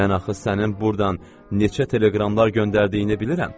Mən axı sənin burdan neçə teleqramlar göndərdiyini bilirəm.